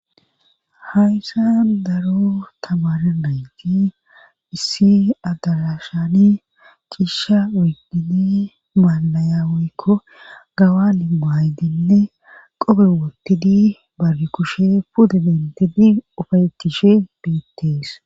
hayssa daro tamare nayti issi adarashani cishsha oydini maallaya woykko gawani maydinne qobe wottidi bargi kushe puda dentidi ufayetishe beettees